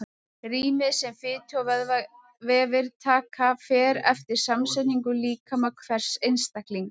Rýmið sem fitu- og vöðvavefir taka fer eftir samsetningu líkama hvers einstaklings.